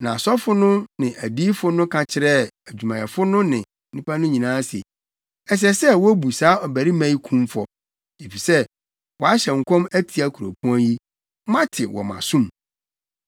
Na asɔfo no ne adiyifo no ka kyerɛɛ adwumayɛfo no ne nnipa no nyinaa se, “Ɛsɛ sɛ wobu saa ɔbarima yi kumfɔ, efisɛ wahyɛ nkɔm atia kuropɔn yi. Moate wɔ mo asom!”